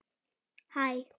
Takk fyrir brosið þitt.